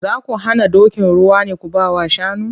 Za ku hana dokin ruwa ne ku ba wa shanu?